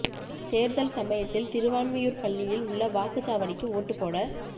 தேர்தல் சமயத்தில் திருவான்மியூர் பள்ளியில் உள்ள வாக்குச் சாவடிக்கு ஓட்டுப் போட